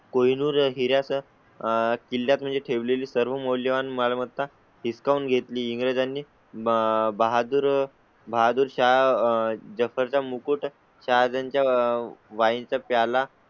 कोहिनूर हिरा चं आह किल्ल्यात म्हणजे ठेवले ली सर्व मौल्यवान मालमत्ता डिस्काउंट घेतली. इंग्लिश आणि बहादूर बहादूरशाह जफर चा मुकुट शहरांच्या वाइल्ड चा प्याला